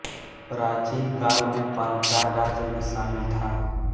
प्राचीन काल में पांचाल राज्य में शामिल था